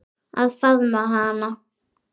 Að faðma hana.